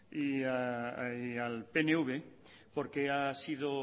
y al pnv porque ha sido